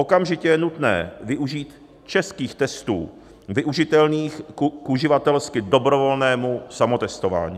Okamžitě je nutné využít českých testů využitelných k uživatelsky dobrovolnému samotestování.